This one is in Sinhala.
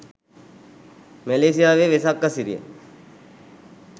මැලේසියාවේ වෙසක් අසිරිය